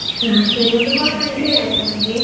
ಹಾ ಸರಿ ಒಂದು call ಮಾಡಿ ಹೇಳಾಯ್ತಾ ನಂಗೆ.